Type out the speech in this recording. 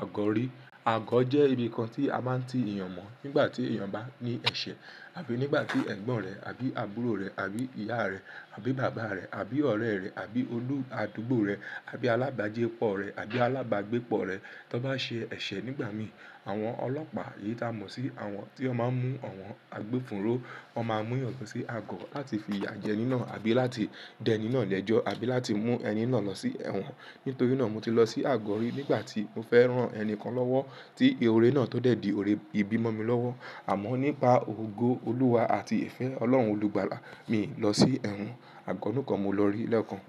àgó rí. Àgó jẹ́ ibi kan tí a máa ń ti èèyàn mọ̀ nígbà tí èèyàn bá ní ẹ̀ṣẹ̀ àbí nígbà tí ẹ̀gbọ́n rẹ̀ àbí àbúrò rẹ̀ àbí ìyá rẹ̀ àbí bàbá rẹ̀ àbí ọ̀rẹ́ rẹ̀ àbí olú àdúgbò rẹ̀ àbí alábàágbépọ̀ rẹ̀ àbí alábàágbépọ̀ rẹ̀ tọn bá ṣe ẹ̀ṣẹ̀ nígbà mi, àwọn ọlọ́pàá èyí ta mọ̀ sí àwọn tí wọ́n máa ń mú àwọn agbófùrú, wọ́n máa mú ẹ̀yàn kan sí àgó láti fi ìyà jẹ nínà á àbí láti dẹ nínà lẹ́jọ́ àbí láti mú ẹni náà lọ sí ẹ̀wọ̀n. Nítorí náà mo ti lọ sí àgó rí nígbà tí mo fẹ́ rán ẹni kan lọ́wọ́ tí ehore náà tó dẹ̀ di òre ìbímọ mi lọ́wọ́. Àmọ́ nípa ògo Olúwa àti ìfẹ́ Ọlọ́run olùgbàlà mi lọ sí ẹ̀wọ̀n, àgọ́ nìkan mo lọ rí lẹ́ẹ̀kan.